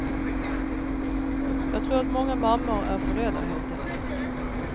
Jag tror att många mammor är för rädda helt enkelt.